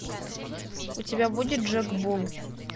у тебя будет джек булл